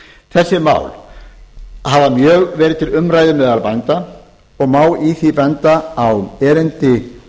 þessi mál hafa mjög verið til umræðu meðal bænda og má í því sambandi benda á erindi